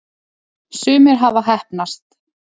sumir hafa heppnast